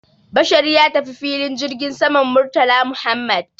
Bashar ya tafi filin jirgin saman Murtala Muhammad